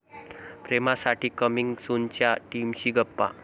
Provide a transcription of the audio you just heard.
प्रेमासाठी coming सून'च्या टीमशी गप्पा